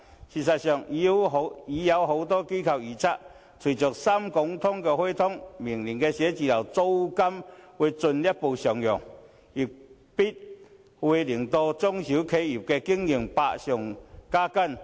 事實上，已有多間機構預測，隨着"深港通"開通，明年寫字樓的租金會進一步上揚，必會令中小企業的經營百上加斤。